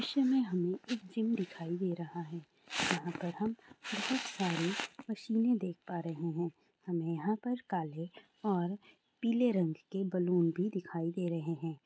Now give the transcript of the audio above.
सीसे में हमें एक जिम दिखाई दे रही है यहाँ पर हम बहोत सारी मसीने देख पा रहे हैं हमें यहाँ पर काले और पीले रंग के बलून भी दिखाई दे रहे हैं